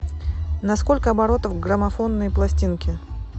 на сколько оборотов граммофонные пластинки